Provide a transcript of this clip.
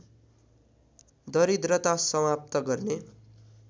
दरिद्रता समाप्त गर्ने